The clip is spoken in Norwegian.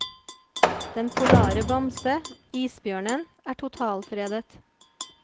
Den polare bamse, isbjørnen, er totalfredet.